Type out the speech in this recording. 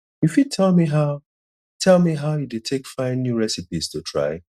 you fit tell me how tell me how you dey take find new recipes to try